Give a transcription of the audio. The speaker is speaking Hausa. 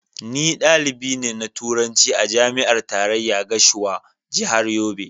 Ni dalibi ne na Turanci a Jami'ar Tarayya Gashua, Jihar Yobe.